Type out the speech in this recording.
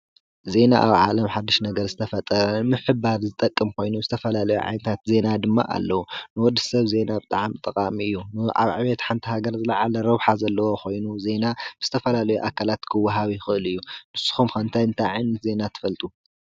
ዜና ኣብ ዓለም ሓዱሽ ነገር ዝተፈጠረ ምሕባር ዝጠቅም ኮይኑ ዝተፈላለዩ ዓይነታት ዜና ድማ ኣለዉ። ንወድሰብ ዜና ብጣዕሚ ጠቃሚ እዩ። ኣብ ዕቤት ሓንቲ ሃገር ዝለዓለ ረብሓ ዘለዎ ኾይኑ ዜና ዝተፈላለዩ ኣካላት ክወሃብ ይኽእል እዩ። ንስኹም ከ እንታይ እንታይ ዓይነት ዜና። ትፈልጡ?